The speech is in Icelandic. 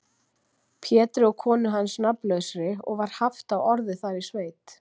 Pétri og konu hans nafnlausri, og var haft á orði þar í sveit.